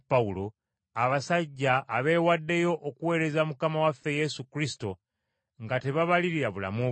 abasajja abeewaddeyo okuweereza Mukama waffe Yesu Kristo nga tebabalirira bulamu bwabwe.